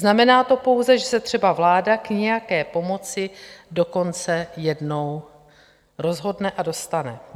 Znamená to pouze, že se třeba vláda k nějaké pomoci dokonce jednou rozhodne a dostane.